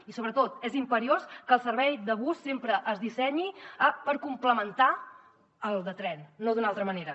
i sobretot és imperiós que el servei de bus sempre es dissenyi per complementar el de tren no d’una altra manera